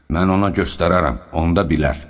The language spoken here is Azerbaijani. Mən ona göstərərəm, onda bilər.